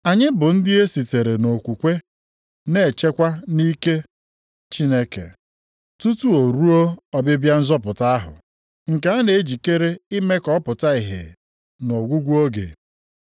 Anyị bụ ndị e sitere nʼokwukwe na-echekwa nʼike Chineke, tutu ruo ọbịbịa nzọpụta ahụ, nke a na-ejikere ime ka ọ pụta ìhè nʼọgwụgwụ oge.